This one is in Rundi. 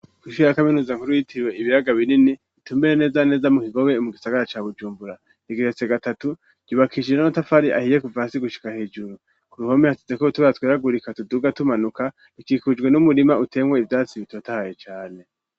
Kw'ishure ya kaminuza nkuru yitiriwe ibiyaga binini itumbereye neza na neza mu kigobe mugisagara ca bujumbura, igeretse gatatu, ryubakishije n'amatafari ahiye kuva hasi gushika hejuru, k'uruhome hasizeko utubara twera tuduga tumanuka, hakikujwe n'umurima uteyemwo ivyatsi bitotahaye cane.